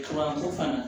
fana